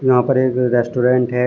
यहां पर एक रे रेस्टोरेंट है।